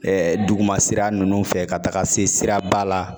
Ɛ ɛ duguma sira nunnu fɛ ka taga se siraba la